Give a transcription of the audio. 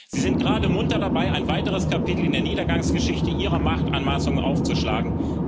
Sie sind gerade munter dabei, ein weiteres Kapitel in der Niedergangsgeschichte Ihrer Machtanmaßung aufzuschlagen.